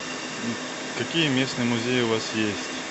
какие местные музеи у вас есть